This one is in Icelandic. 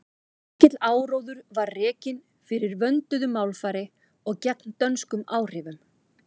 mikill áróður var rekinn fyrir vönduðu málfari og gegn dönskum áhrifum